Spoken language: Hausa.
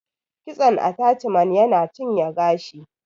Kitson ataciman yana cinye gashi